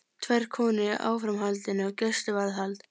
Tvær konur í áframhaldandi gæsluvarðhald